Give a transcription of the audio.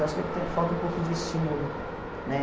Eu acho que está falta um pouco de estímulo, né?